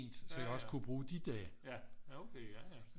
Så jeg også kunne bruge de dage